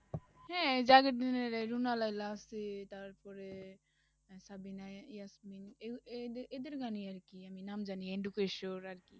হ্যাঁ, জাভেদ রুনা লায়লা আছে, তারপরে আহ সাবিনা এ~ ইয়াসমিন এহ~ এদের এদের গান ই আরকি আমি নাম জানি আরকি,